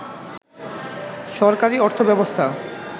সরকারী অর্থব্যবস্থা